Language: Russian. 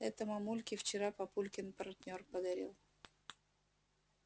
это мамульке вчера папулькин партнёр подарил